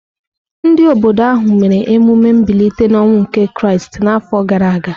Ndị obodo ahụ mere emume mbilite n’ọnwụ nke Kraịst n’afọ gara aga.